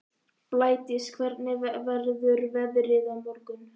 Blædís, hvernig verður veðrið á morgun?